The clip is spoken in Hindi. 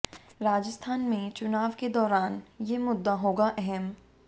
राजस्थान में चुनाव के दौरान ये मुद्दा होगा अहम